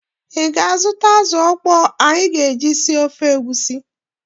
Ị ga-azụta azụ ọkpọọ nkụ anyị ga-eji sie ofe egusi?